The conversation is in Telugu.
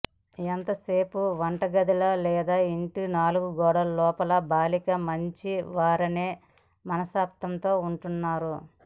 ఎంతసేపు వంటగదిలో లేదా ఇంటి నాలుగు గోడల లోపల బాలికలు మంచివారనే మనస్తత్వంతో ఉంటున్నారు